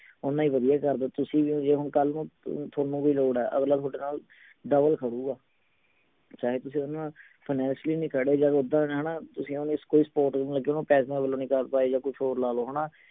ਉੰਨਾ ਹੀ ਵਧੀਆ ਕਰਦਾ ਤੁਸੀਂ ਵੀ ਜੇ ਹੁਣ ਕੱਲ ਨੂੰ ਥੋਨੂੰ ਕੋਈ ਲੋੜ ਹੈ ਅਗਲਾ ਥੋਡੇ ਨਾਲ double ਖੜੂਗਾ ਚਾਹੇ ਤੁਸੀਂ ਓਹਦੇ ਨਾਲ finacially ਨਹੀਂ ਖੜੇ ਜਾ ਉੱਦਾਂ ਹਣਾ ਤੁਸੀਂ ਓਹਨੂੰ ਕੋਈ support ਵੀ ਨਹੀਂ ਲੱਗੇ ਓਹਨੂੰ ਪੈਸੇ ਵਲੋਂ ਨਹੀਂ ਕਰ ਪਾਏ ਜਾ ਕੁਛ ਹੋਰ ਲਾ ਲਓ ਹਣਾ